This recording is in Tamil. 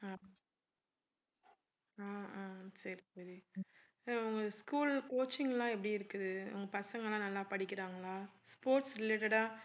ஆஹ் ஆஹ் சரி சரி அஹ் உங்க school coaching லாம் எப்படி இருக்குது உங்க பசங்க எல்லாம் நல்லா படிக்கிறாங்களா? sports related ஆ